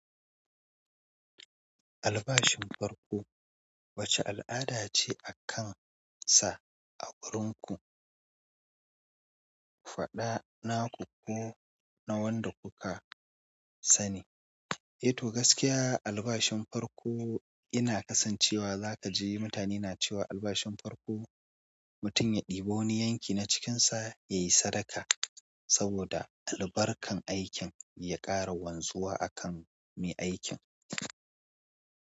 Albashin farko wace al'ada ce a kan sa a wurin ku? Faɗa naku ko na wanda kuka sani. Eh to gaskiya albashin farko ina kasancewa zaka ji mutane na cewa albashin farko mutum ya ɗebo ni yanki na cikin sa yayi sadaka saboda albarkan aikin ya ƙara wanzuwa akan me aikin.